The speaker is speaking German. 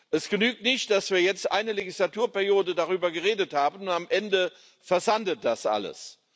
Es genügt nicht, dass wir jetzt eine Legislaturperiode darüber geredet haben, und am Ende versandet das alles.